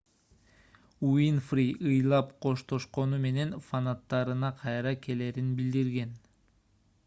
уинфри ыйлап коштошкону менен фанаттарына кайра келерин билдирген